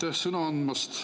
Aitäh sõna andmast!